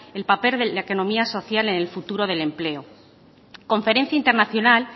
el papel de la economía social en el futuro del empleo conferencia internacional